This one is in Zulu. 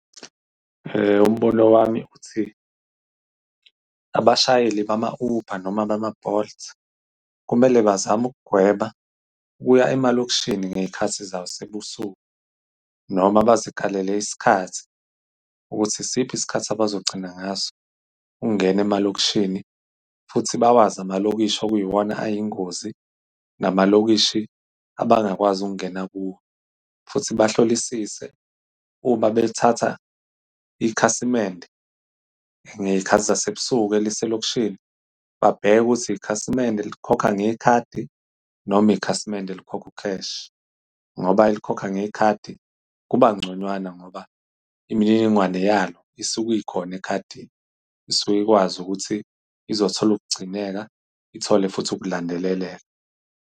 Umbono wami uthi abashayeli bama-Uber noma bama-Bolt kumele bazame ukugwema ukuya emalokishini ngey'khathi zase ebusuku noma bazikalele isikhathi ukuthi isiphi isikhathi abazogcina ngaso ukungena emalokishini, futhi bawazi amalokishi, okuyiwona ayingozi nama lokishi abangakwazi ukungena kuwo, futhi bahlolisise. Uma bethatha ikhasimende ngey'khathi zase ebusuku eliselokishini, babheke ukuthi ikhasimende elikhokha ngekhadi noma ikhasimende elikhokha u-cash ngoba elikhokha ngekhadi kuba ngconywana, ngoba imininingwane yalo isuke ikhona ekhadini, isuke ikwazi ukuthi izothola ukugcineka ithole futhi ukulandeleleka.